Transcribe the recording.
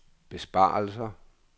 besparelser